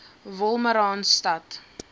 wolmaransstad